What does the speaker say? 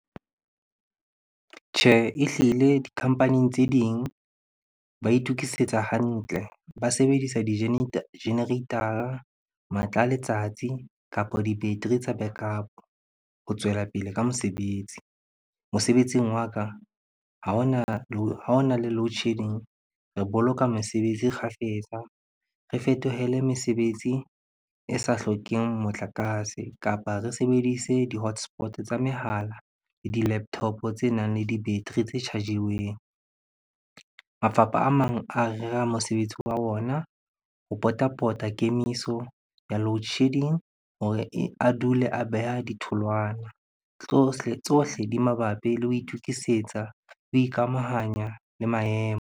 Tjhe, ehlile di-company tse ding ba itukisetsa hantle, ba sebedisa di generator-a, matla a letsatsi kapa di-battery tsa backup ho tswela pele ka mosebetsi. Mosebetsing wa ka ha hona le loadshedding, re boloka mesebetsi kgafetsa, re fetohele mesebetsi e sa hlokeng motlakase kapa re sebedise di-hotspot tsa mehala le di-laptop tsenang le di-battery tse charge-iweng. Mafapha a mang a rera mosebetsi wa ona ho pota-pota kemiso ya loadshedding hore a dule a beha ditholwana. Tsohle di mabapi le ho itukisetsa, ho ikamahanya le maemo.